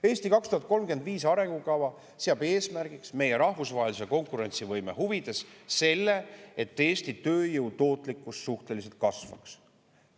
"Eesti 2035" arengukava seab eesmärgiks meie rahvusvahelise konkurentsivõime huvides selle, et Eesti tööjõu tootlikkus suhteliselt kasvaks.